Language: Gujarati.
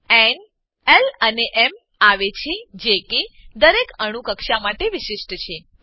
ક્વોન્ટમ ક્રમાંકો ન એલ અને એમ આવે છે જે કે દરેક અણુ કક્ષા માટે વિશિષ્ટ છે